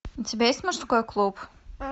у тебя есть мужской клуб